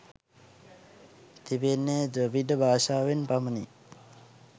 තිබෙන්නේ ද්‍රවිඩ භාෂාවෙන් පමණි